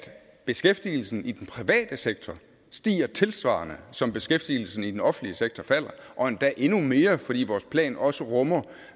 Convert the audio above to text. beskæftigelsen i den private sektor stiger tilsvarende som beskæftigelsen i den offentlige sektor falder og endda endnu mere fordi vores plan også rummer